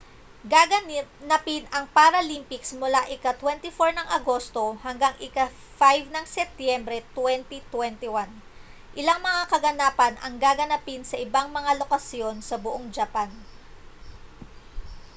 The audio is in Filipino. gaganapin ang paralympics mula ika-24 ng agosto hanggang sa ika-5 ng setyembre 2021 ilang mga kaganapan ang gaganapin sa ibang mga lokasyon sa buong japan